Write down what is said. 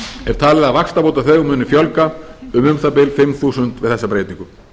er talið að vaxtabótaþegum muni fjölga um um það bil fimm þúsund við mest breytingu